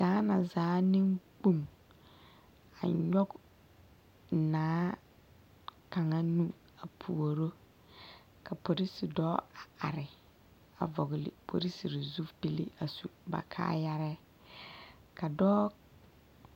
Gaana zaa neŋkpoŋ a nyɔg naa kaŋa nu a puoro ka polisi dɔɔ a are a vɔgli polisirii zupil a su ba kaayarɛɛ ka dɔɔ.